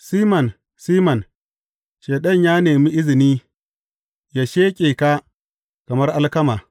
Siman, Siman, Shaiɗan ya nemi izini ya sheƙe ka kamar alkama.